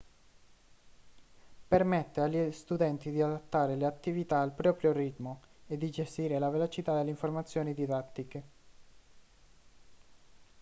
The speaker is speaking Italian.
permette agli studenti di adattare le attività al proprio ritmo e di gestire la velocità delle informazioni didattiche